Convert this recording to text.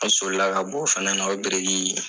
An sɔlila ka bɔ o fana na o biriki